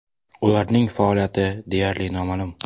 Ularning faoliyati deyarli noma’lum.